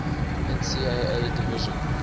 ncaa division